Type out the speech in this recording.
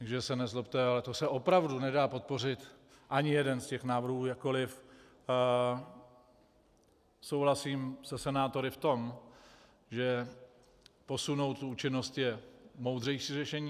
Takže se nezlobte, ale to se opravdu nedá podpořit, ani jeden z těch návrhů, jakkoliv souhlasím se senátory v tom, že posunout účinnost je moudřejší řešení.